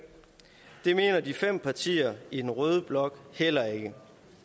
det mener de fem partier i den røde blok heller ikke